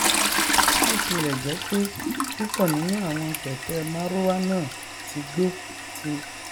bí ó tilẹ jẹ pé púpọ nínú àwọn kẹkẹ marwa náà ti gbo ti